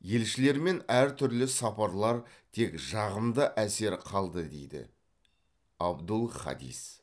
елшілермен әр түрлі сапарлар тек жағымды әсер қалды дейді абдул хадис